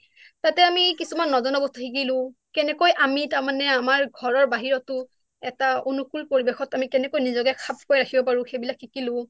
তাতে আমি কিছুমান নজনা বস্তু শিকিলোঁ কেনেকৈ আমি তাৰ মানে আমাৰ ঘৰৰ বাহিৰতো এটা অনুকুল পৰিবেশত আমি কেনেকৈ নিজকে খাপ খুৱাই ৰাখিব পাৰো সেইবিলাক শিকিলোঁ